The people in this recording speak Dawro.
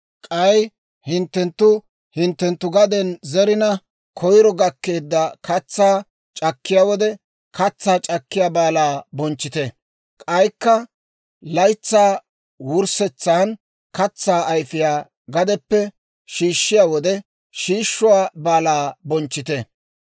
«K'ay hinttenttu hinttenttu gaden zerina, koyro gakkeedda katsaa c'akkiyaa wode, Katsaa c'akkiyaa Baalaa bonchchite. «K'aykka laytsaa wurssetsan, katsaa ayfiyaa gadeppe shiishshiyaa wode, Shiishuwaa Baalaa bonchchite.